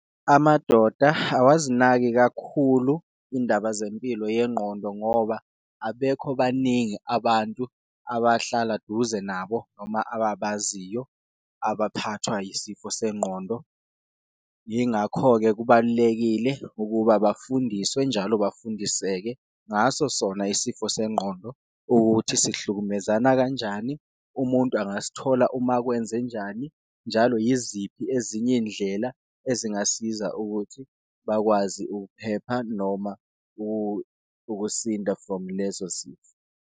Amadoda awazinaki kakhulu indaba zempilo yengqondo ngoba abekho baningi abantu abahlala duze nabo noma ababaziyo abaphathwa yisifo sengqondo. Yingakho-ke kubalulekile ukuba bafundiswe njalo bafundiseke ngaso sona isifo sengqondo, ukuthi sihlukumezana kanjani, umuntu angasithola uma kwenzenjani. Njalo yiziphi ezinye indlela ezingasiza ukuthi bakwazi ukuphepha noma ukusinda from lezo zifo.